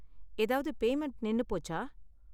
ஏதாவது பேமண்ட் நின்னு போச்சா?